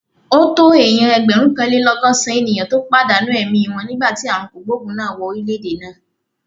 Ó tó èèyàn ẹgbẹ̀rúnkanlélọ́gọ́sàn-án ènìyàn tó padà èmi wọn nígbà tí ààrùn kògbòògùn náà wọ orílè-èdè náà